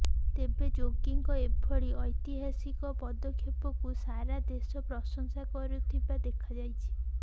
ତେବେ ଯୋଗୀଙ୍କ ଏଭଳି ଐତିହାସିକ ପଦକ୍ଷେପକୁ ସାରା ଦେଶ ପ୍ରଶଂସା କରୁଥିବା ଦେଖାଯାଇଛି